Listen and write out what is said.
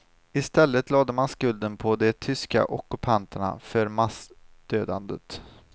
I stället lade man skulden på de tyska ockupanterna för massdödandet.